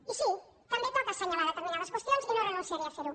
i sí també toca assenyalar determinades qüestions i no renunciaré a fer ho